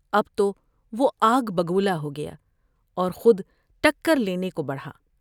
اب تو وہ آگ بگولہ ہو گیا اور خودٹکر لینے کو بڑھا ۔